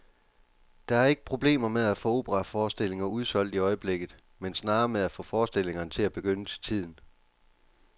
Der er ikke problemer med at få operaforestillinger udsolgt i øjeblikket, men snarere med at få forestillingerne til at begynde til tiden.